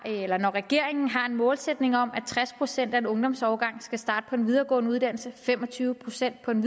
regeringen har en målsætning om at tres procent af en ungdomsårgang skal starte på en videregående uddannelse fem og tyve procent på en